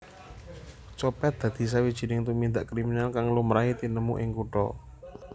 Copet dadi sawijining tumindak kriminal kang lumrahe tinemu ing kutha